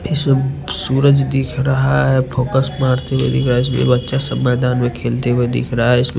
इसमें सूरज दिख रहा है फॉकस मारते हुए दिख रहा है इसलिए बच्चा सब मैदान में खेलते हुआ दिख रहा है इसमें--